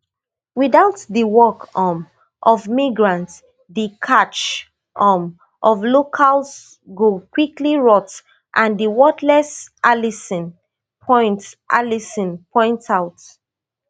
without di work um of migrants di catch um of locals go quickly rot and dey worthless allison point allison point out